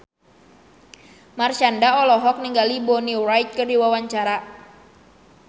Marshanda olohok ningali Bonnie Wright keur diwawancara